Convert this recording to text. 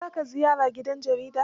Za ka ziyara gidan jaridar?